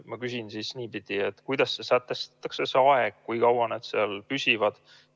Ma küsin siis niipidi: kuidas sätestatakse see aeg, kui kaua need seal püsivad?